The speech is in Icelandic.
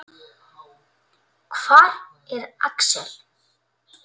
Hvar er Axel?